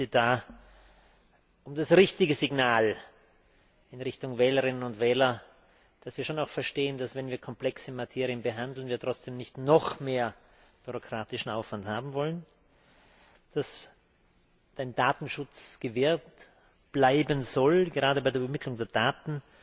Ich bitte da um das richtige Signal in Richtung Wählerinnen und Wähler, dass wir schon auch verstehen, dass, wenn wir komplexe Materien behandeln, wir trotzdem nicht noch mehr bürokratischen Aufwand haben wollen, dass ein Datenschutz gewahrt bleiben soll, gerade bei der Übermittlung der Daten,